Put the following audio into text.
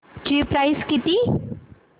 ची प्राइस किती